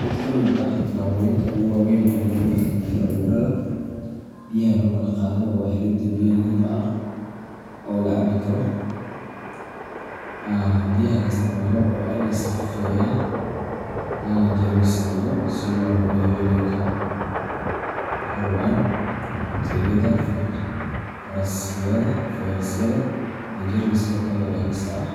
Mid ka mid ah tallaabooyinka ugu waaweyn ee lagu xakameeyo cudurrada biyaha lagu kala qaado waa helidda biyo nadiif ah oo la cabi karo. Biyaha la isticmaalo waa in la sifeeyaa lana jeermis dilo si loo hubiyo inay ka xoroobaan bakteeriyada, fayrasyada, iyo jeermiska kale ee halista ah.